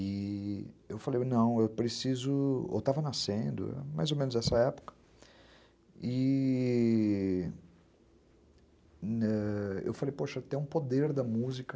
E eu falei, não, eu preciso... Eu estava nascendo, mais ou menos nessa época, e eu falei, poxa, tem um poder da música.